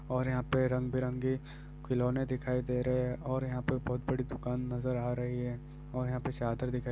और यहाँ पे रंग-बिरंगे खिलौने दिखाई दे रहे है और यहाँ पे बहुत बड़ी दुकान नज़र आ रही है और यहाँ पे चादर दिखाई --